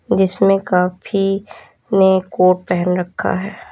जिसमें काफी ने कोट पहन रखा है।